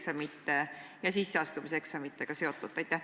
Mis järgmisel kahel nädalal distantsõppe toetamiseks konkreetselt juhtub?